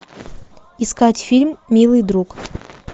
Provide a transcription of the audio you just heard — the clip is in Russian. искать фильм милый друг